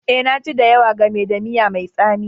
Eh, na ji da yawa game da miya mai tsami